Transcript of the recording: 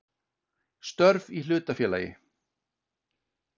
Störf í hlutafélagi.